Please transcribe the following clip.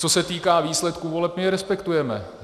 Co se týká výsledků voleb, my je respektujeme.